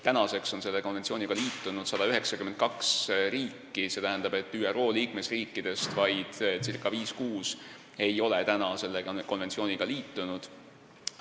Nüüdseks on sellega liitunud 192 riiki, st ÜRO liikmesriikidest vaid circa viis-kuus ei ole veel liitunud.